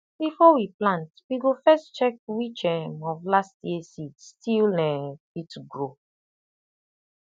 before we plant we go first check which um of last year seed still um fit grow